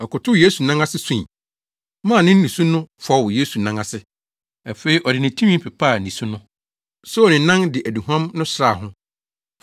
Ɔkotow Yesu nan ase sui, maa ne nusu no fɔw Yesu nan ase. Afei ɔde ne tinwi pepaa nisu no, soo ne nan de aduhuam no sraa ho.